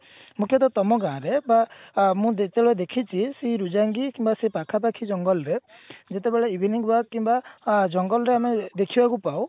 ମୁଖ୍ଯତଃ ତମ ଗାଁରେ ବା ମୁଁ ଯେତେବେଳେ ଦେଖିଛି ସେଇ ଋଜଙ୍ଗୀ କି ସେଇ ପାଖାପାଖି ଜଙ୍ଗଲ ରେ ଯେତେବେଳେ evening work କିମ୍ବା ଅ ଜଙ୍ଗଲରେ ଆମେ ଦେଖିବାକୁ ପାଉ